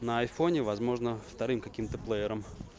на айфоне возможно вторым каким-то плеером